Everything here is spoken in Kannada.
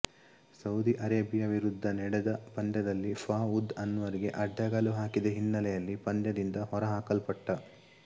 ಸೌದಿ ಅರೇಬಿಯ ವಿರುಧ್ದ ನಡೆದ ಪಂದ್ಯದಲ್ಲಿ ಫಾಉದ್ ಅನ್ವರ್ ಗೆ ಅಡ್ಡಗಾಲು ಹಾಕಿದ ಹಿನ್ನೆಲೆಯಲ್ಲಿ ಪಂದ್ಯದಿಂದ ಹೊರ ಹಾಕಲ್ಪಟ್ಟ